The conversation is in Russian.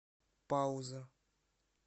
пауза